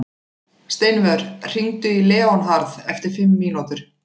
Steinvör, hringdu í Leónharð eftir fimm mínútur.